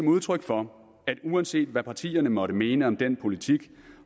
udtryk for at uanset hvad partierne måtte mene om den politik